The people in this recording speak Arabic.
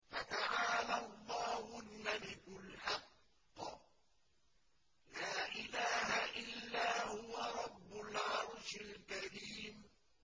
فَتَعَالَى اللَّهُ الْمَلِكُ الْحَقُّ ۖ لَا إِلَٰهَ إِلَّا هُوَ رَبُّ الْعَرْشِ الْكَرِيمِ